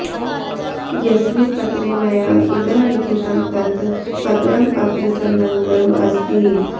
यस्मिन् पत्रे मया इदम् लिखितं तत् पत्रम् अत्र संलग्नम् अस्ति